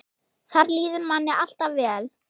Þar líður manni alltaf vel.